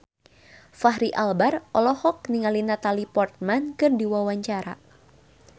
Fachri Albar olohok ningali Natalie Portman keur diwawancara